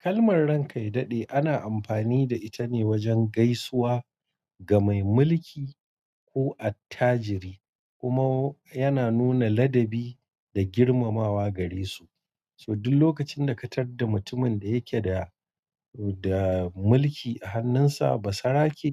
Kalmar "ran kaidadi" ana amfani da ita ne wajen gaisuwa ga mai mulki ko attajiri, kuma yana nuna ladabi da girmamawa gare su. So duk lokacin da ka tar da mutumin da yake da, da mulki a hannunsa, basarake